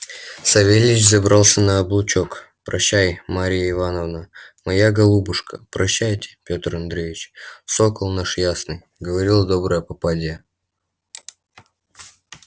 савельич забрался на облучок прощай марья ивановна моя голубушка прощайте пётр андреич сокол наш ясный говорила добрая попадья